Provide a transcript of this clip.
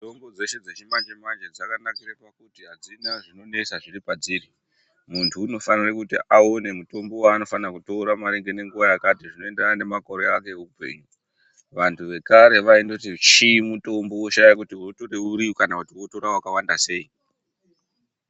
Mitombo dzeshe dzechimanje manje dzakanakira kuti hadzina zvinonesa zviri padziri munhu unofanira kuti aone mutombo waanofanirwa kutora nenguva yakati zviendera nemakore are eupenyu vantu vekare vaibe kuti chii mutombo wotoshaya kuti otere uri kana kuti wotora wakawanda sei?